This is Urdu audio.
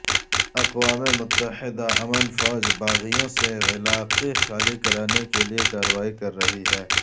اقوام متحدہ امن فوج باغیوں سے علاقے خالی کرانے کے لیے کارروائی کررہی ہے